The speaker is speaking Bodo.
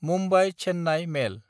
मुम्बाइ–चेन्नाय मेल